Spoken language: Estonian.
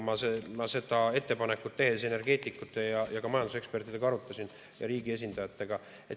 Ma seda ettepanekut tehes energeetikute ja ka majandusekspertidega ja riigi esindajatega arutasin.